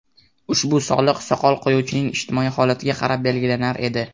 Ushbu soliq soqol qo‘yuvchining ijtimoiy holatiga qarab belgilanar edi.